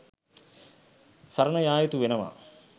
සරණ යා යුතු වෙනවා.